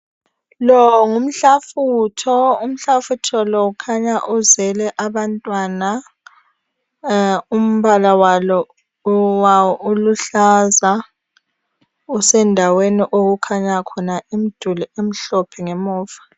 Lo ngumhlafutho, umhlafutho lo ukhanya uzele abantwana umbala wawo uluhlaza usendaweni okukhanya khona imduli emhlophe ngemuva.